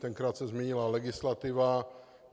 Tenkrát se změnila legislativa.